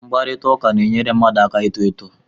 Mkparịta ụka na-enyere mmadụ aka ito eto